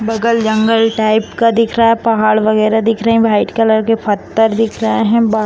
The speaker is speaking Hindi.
बगल जंगल टाइप का दिख रहा है पहाड़ वगैरा दिख रहे है व्हाइट कलर के पत्थर दिख रहे है वा --